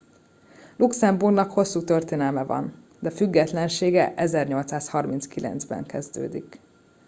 luxemburgnak hosszú történelme van de függetlensége 1839 ban kezdődik